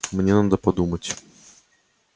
мне надо подумать